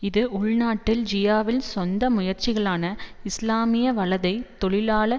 இது உள்நாட்டில் ஜியாவின் சொந்த முயற்சிகளான இஸ்லாமிய வலதை தொழிலாள